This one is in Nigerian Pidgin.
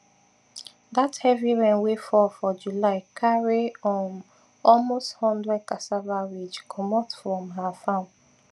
dat heavy rain wey fall for july carry um almost one hundred cassava ridge comot from her farm